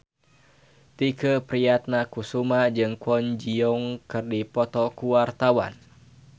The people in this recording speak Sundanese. Tike Priatnakusuma jeung Kwon Ji Yong keur dipoto ku wartawan